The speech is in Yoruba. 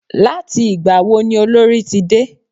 Láti ìgbà wo ni Olorì ti dé?